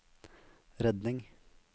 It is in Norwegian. redning